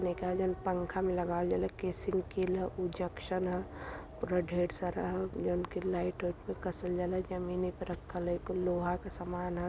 ने का जोन पंखा में लगाअवल जाला केसी न के ला उ जंक्शन ह पूरा ढेर सारा ह जोन की लाईट वाइट पर कसल जाला जमीन पे रखल ह इ कुल लोहा के सामान हा --